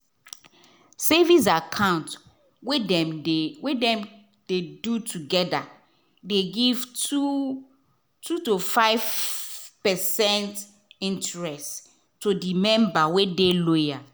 savings account wey dem dey we dem de do together de give two to five percent interest to the member wey de loyal